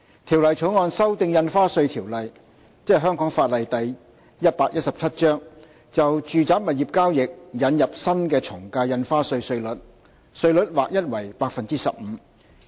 《條例草案》修訂《印花稅條例》，就住宅物業交易引入新的從價印花稅稅率，稅率劃一為 15%，